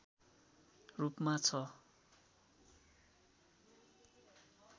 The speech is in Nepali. रूपमा छ